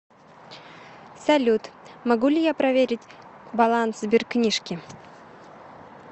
салют могу ли я проверить баланс сбер книжки